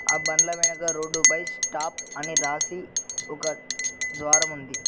ఆ బండ్ల వెనక రోడ్డు పై స్టాప్ అని రాసి ఒక ద్వారముంది.